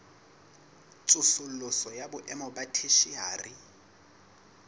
tsosoloso ya boemo ba theshiari